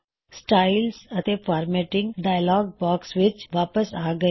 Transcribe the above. styles ਅਤੇ formatting dialogue box ਵਿੱਚ ਅਸੀ ਵਾਪਸ ਆ ਗਏ ਹਾਂ